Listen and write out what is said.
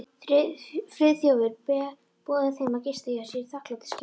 Friðþjófur boðið þeim að gista hjá sér í þakklætisskyni.